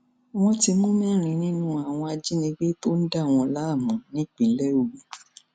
wọn ti mú mẹrin nínú àwọn ajínigbé tó ń dà wọn láàmú nípínlẹ ogun